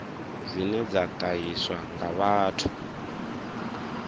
dzine dza ṱahiswa nga vhathu